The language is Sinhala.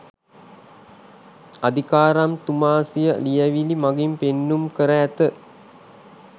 අදිකාරම්තුමා සිය ලියැවිලි මඟින් පෙන්නුම් කර ඇත